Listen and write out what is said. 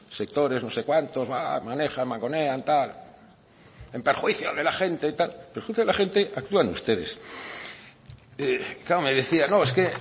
sectores no sé cuántos manejan mangonean tal en perjuicio de la gente en perjuicio de la gente actúan ustedes claro me decían no es que